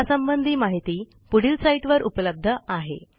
यासंबंधी माहिती पुढील साईटवर उपलब्ध आहे